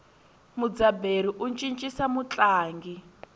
mudzaberi u cincisa mutlangi